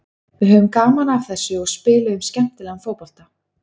Við höfðum gaman af þessu og spiluðum skemmtilegan fótbolta.